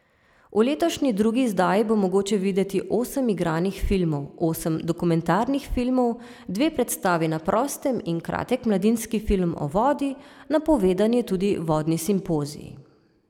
V letošnji drugi izdaji bo mogoče videti osem igranih filmov, osem dokumentarnih filmov, dve predstavi na prostem in kratek mladinski film o vodi, napovedan je tudi vodni simpozij.